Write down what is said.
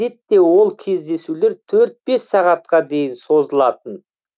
әдетте ол кездесулер төрт бес сағатқа дейін созылатын